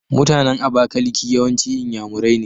MutAnan abakaliki yawanci inyamurai ne